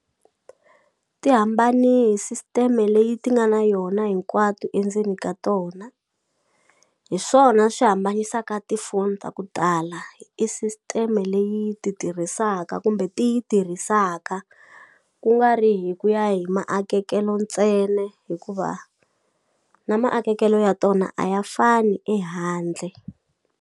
Ti hambani system-e leyi ti nga na yona hinkwato endzeni ka tona hi swona swi hambanyisaka tifoni ta ku tala i system-e leyi ti tirhisaka kumbe ti yi tirhisaka kungari hi ku ya hi maakekelo ntsena hikuva na maakekelo ya tona a ya fani ehandle.